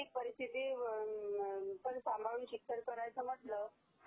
ती परीस्थिती सांभाळून शिक्षण करायचं म्हटंल